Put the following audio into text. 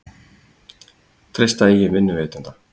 Treysta eigin vinnuveitanda